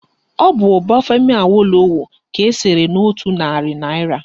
Ọ bụ Obafemi Awolowo ka esere n'otu narị naịra